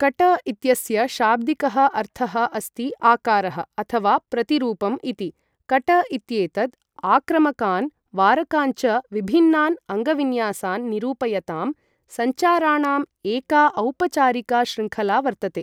कट इत्यस्य शाब्दिकः अर्थः अस्ति आकारः अथवा प्रतिरूपम् इति। कट इत्येतद् आक्रामकान् वारकान् च विभिन्नान् अङ्गविन्यासान् निरूपयतां सञ्चाराणाम् एका औपचारिका शृङ्खला वर्तते।